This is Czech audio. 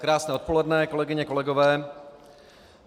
Krásné odpoledne, kolegyně, kolegové.